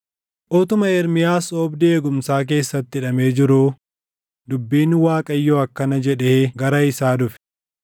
Utuma Ermiyaas oobdii eegumsaa keessatti hidhamee jiruu dubbiin Waaqayyoo akkana jedhee gara isaa dhufe: